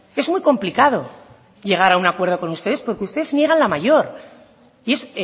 es muy complicado llegar a un acuerdo con ustedes porque usted niega la mayor y es